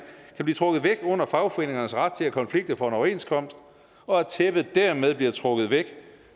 blive trukket væk under fagforeningernes ret til at konflikte for en overenskomst og at tæppet dermed bliver trukket væk